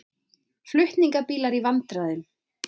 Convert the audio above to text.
Flutningabílar í vandræðum